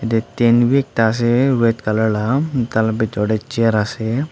tetend bi ekta ase red colour lah tala bithor te chair ase.